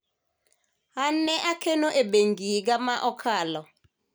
an ne akeno e bengi higa ma okalo